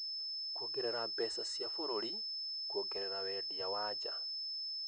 kuongerera mbeca cia bũrũri kũgerera wendia wa nja.